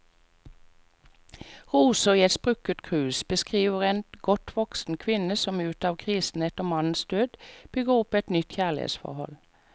Roser i et sprukket krus beskriver en godt voksen kvinne som ut av krisen etter mannens død, bygger opp et nytt kjærlighetsforhold.